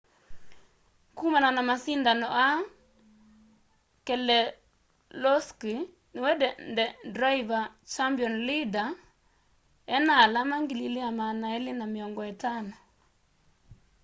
kũmana na masindano aa keselowski niwe driver' champion leader ena alama 2,250